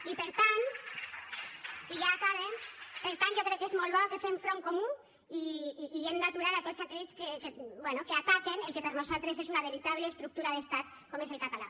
i per tant i ja acabe jo crec que és molt bo que fem front comú i hem d’aturar a tots aquells que bé ataquen el que per nosaltres és una veritable estructura d’estat com és el català